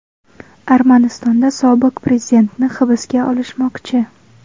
Armanistonda sobiq prezidentni hibsga olishmoqchi.